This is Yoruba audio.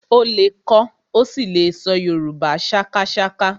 Ó lè kọ ó sì lè ṣọ Yorùbá sákásáká